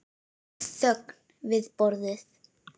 Það var þögn við borðið.